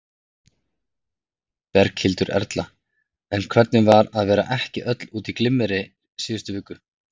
Berghildur Erla: En hvernig var að vera ekki öll út í glimmeri síðustu viku?